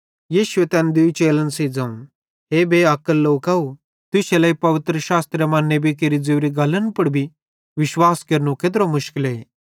यीशु तैन दूई चेलन सेइं ज़ोवं हे बेअक्ल लोकव तुश्शे लेइ पवित्रशास्त्र मां नेबी केरि ज़ोरी गल्लन पुड़ भी विश्वास केरनो केत्रो मुशकले